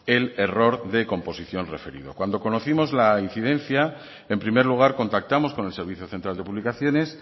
el error de composición referido cuando conocimos la incidencia en primer lugar contactamos con el servicio central de publicaciones